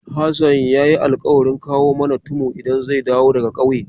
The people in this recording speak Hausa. Hassan ya yi alƙawarin kawo mana tumu idan zai dawo daga ƙauye.